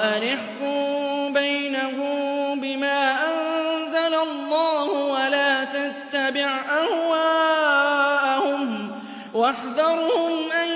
وَأَنِ احْكُم بَيْنَهُم بِمَا أَنزَلَ اللَّهُ وَلَا تَتَّبِعْ أَهْوَاءَهُمْ وَاحْذَرْهُمْ أَن